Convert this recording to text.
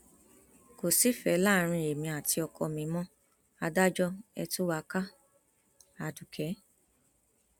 kò sífẹẹ láàrin èmi àti ọkọ mi mo adájọ ẹ tú wa káadukẹ